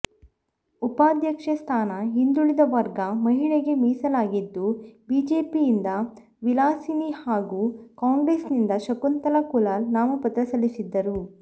ಉಪಾಧ್ಯಕ್ಷೆ ಸ್ಥಾನ ಹಿಂದುಳಿದ ವರ್ಗ ಮಹಿಳೆಗೆ ಮೀಸಲಾಗಿದ್ದು ಬಿಜೆಪಿಯಿಂದ ವಿಲಾಸಿನಿ ಹಾಗೂ ಕಾಂಗ್ರೆಸ್ನಿಂದ ಶಕುಂತಲಾ ಕುಲಾಲ್ ನಾಮಪತ್ರ ಸಲ್ಲಿಸಿದ್ದರು